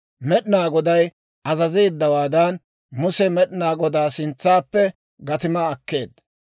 Med'inaa Goday azazeeddawaadan, Muse Med'inaa Godaa sintsaappe gatimaa akkeedda.